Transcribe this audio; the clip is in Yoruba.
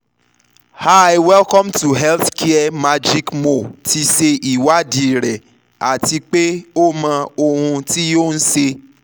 hiwelcome to healthcaremagicmo ti ṣe ìwádìí rẹ ati pe o mọ ohun ti o n ṣe